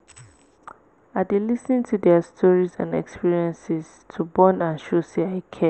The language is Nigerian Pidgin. i dey lis ten to dia stories and experiences to bond and show sey i care.